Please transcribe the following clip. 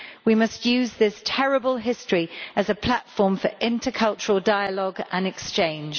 We must use this terrible history as a platform for intercultural dialogue and exchange.